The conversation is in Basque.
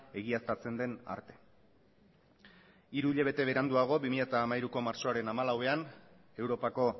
egiaztatzen den arte hiru hilabete beranduago bi mila hamairuko martxoaren hamalauean europako